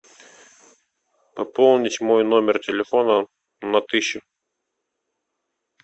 пополнить мой номер телефона на тысячу